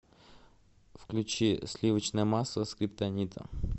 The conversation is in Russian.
включи сливочное масло скриптонита